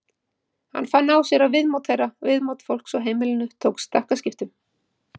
Hann fann á sér að viðmót þeirra, viðmót fólks á heimilinu tók stakkaskiptum.